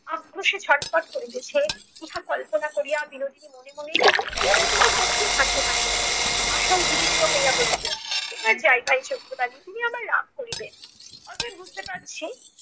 আক্রোশে ছটফট করিতেছে ইহা কল্পনা করিয়া বিনোদিনী মনে মনে তীব্র কঠিন হাসি হাসিল। আশা উদ্বিগ্ন হইয়া বলিত এবার যাই ভাই চোখের বালি। তিনি আবার রাগ করিবেন। অতএব বুঝতে পারছি